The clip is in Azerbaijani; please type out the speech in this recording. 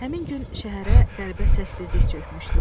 Həmin gün şəhərə qəribə səssizlik çökmüşdü.